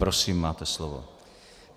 Prosím, máte slovo.